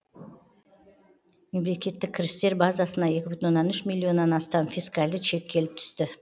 мемлекеттік кірістер базасына екі бүтін оннан үш миллионнан астам фискальді чек келіп түсті